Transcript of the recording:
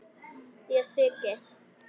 Ég þyki.